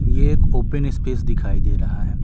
ये एक open space दिखाई दे रहा है।